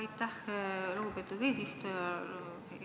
Aitäh, lugupeetud eesistuja!